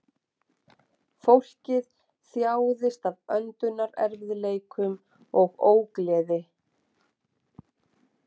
Fólkið þjáðist af öndunarerfiðleikum og ógleði